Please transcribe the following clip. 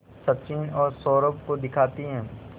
सचिन और सौरभ को दिखाती है